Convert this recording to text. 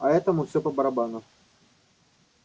а этому всё по-барабану